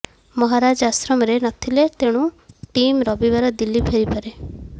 ମହାରାଜ ଆଶ୍ରମରେ ନଥିଲେ ତେଣୁ ଟିମ୍ ରବିବାର ଦିଲ୍ଲୀ ଫେରିପାରେ